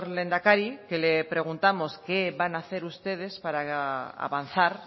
lehendakari que le preguntamos qué van a hacer ustedes para avanzar